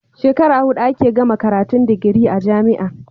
Shekara hudu ake gama karatun digiri a jamia